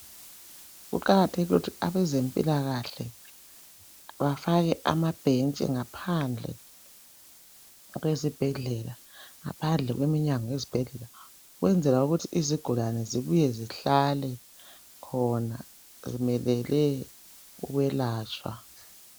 Kuqakathekile ukuthi abezempilakhle bafake amabhentshi ngaphandle kwezibhedlela ngaphandle kweminyango yezibhedlela ukwenzela ukuthi izigulane zibuye zihlale khona zimelele ukwelatshwa.